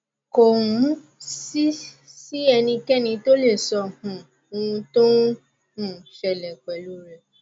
kò um sì sí ẹnikẹni tó lè sọ um ohun tó ń um ṣẹlẹ pẹlú u rẹ